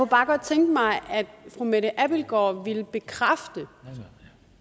bare godt tænke mig at fru mette abildgaard ville bekræfte